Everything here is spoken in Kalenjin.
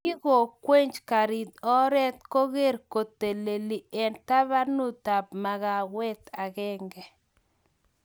Kingowech garit oret koker kokakitelel eng tabanutab makawet agenge